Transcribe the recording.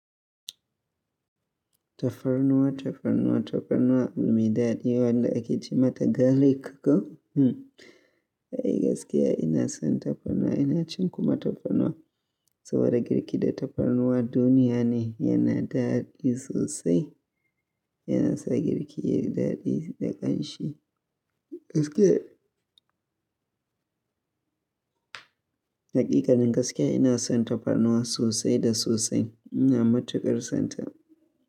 Tafarnuwa, tafarnuwa, tafarnuwa, abu maidadi wanda ake ce mata galik. Hmm, ai gaskiya ina son tafarnuwa, ina cin kuma tafarnuwa. Saboda girki da tafarnuwa duniya ne, yana daɗi sosai. Yana sa girki yayi daɗi da ƙanshi. Gaskiya. Hakikanin gaskiya ina son tafarnuwa sosai da sosai. Ina matuƙar son ta.